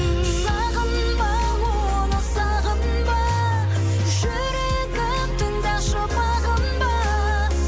сағынба оны сағынба жүрегім тыңдашы бағынба